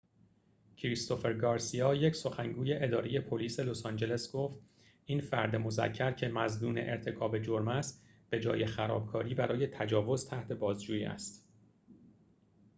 کریستوفر گارسیا یک سخنگوی اداره پلیس لس‌آنجلس گفت این فرد مذکر که مظنون ارتکاب جرم است به‌جای خرابکاری برای تجاوز تحت بازجویی است